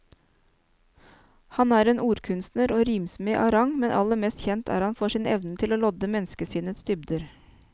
Han er en ordkunstner og rimsmed av rang, men aller mest kjent er han for sin evne til å lodde menneskesinnets dybder.